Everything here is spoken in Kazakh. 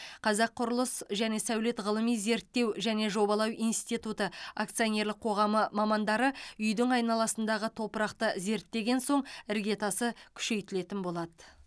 қазақ құрылыс және сәулет ғылыми зерттеу және жобалау институты акционерлік қоғамы мамандары үйдің айналасындағы топырақты зерттеген соң іргетасы күшейтілетін болады